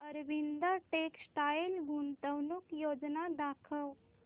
Arvind textile गुंतवणूक योजना दाखव